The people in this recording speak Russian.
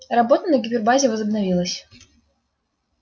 работа на гипербазе возобновилась